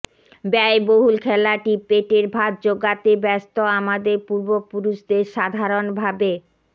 ব্যয়বহুল খেলাটি পেটের ভাত জোগাতে ব্যস্ত আমাদের পূর্বপুরুষদের সাধারণভাবে